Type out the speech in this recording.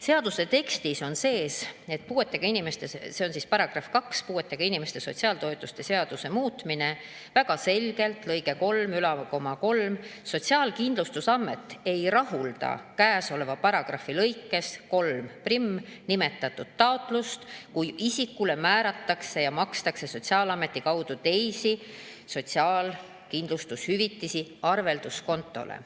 Seaduse tekstis on väga selgelt kirjas, see on § 2 "Puuetega inimeste sotsiaaltoetuste seaduse muutmine" lõikes 33: "Sotsiaalkindlustusamet ei rahulda käesoleva paragrahvi lõikes 31 nimetatud taotlust, kui isikule makstakse Sotsiaalkindlustusameti kaudu teisi sotsiaalkindlustushüvitisi arvelduskontole.